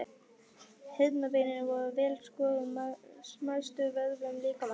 Heyrnarbeinin eru vel skorðuð smæstu vöðvum líkamans.